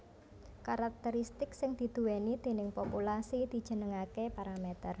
Karakteristik sing diduwèni déning populasi dijenengaké paramèter